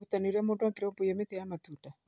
ũrutanĩ wa ũrĩa mũndũ angĩrũmbũiya mĩtĩ ya matunda.